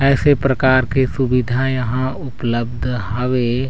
ऐसे प्रकार के सुविधा यहाँ उपलब्ध हावे।